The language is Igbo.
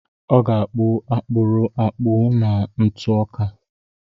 Ọ ga-akpụ akpụrụ akpụ na ntụ ọka.